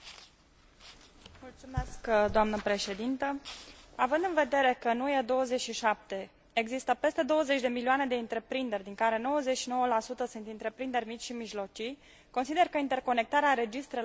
Având în vedere că în UE 27 există peste 20 de milioane de întreprinderi, din care 99 sunt întreprinderi mici și mijlocii, consider că interconectarea registrelor comerțului este o necesitate pentru buna funcționare a pieței interne.